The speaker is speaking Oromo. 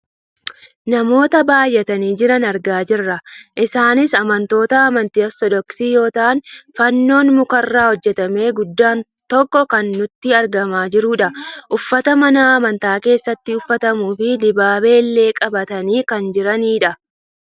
Namoota baayyatanii jiran argaa jirra. Isaanis amantoota amantii ortoodoksii yoo ta'an fannoon mukarraa hojjatame guddaan tokko kan nutti argamaa jirudha. Uffata mana amantaa keessatti uffatamuufi dibaabee illee qabatanii kan jiranidha.